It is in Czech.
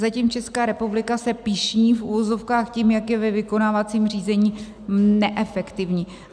Zatím Česká republika se pyšní - v uvozovkách - tím, jak je ve vykonávacím řízení neefektivní.